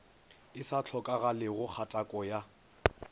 e sa hlokagalego kgatako ya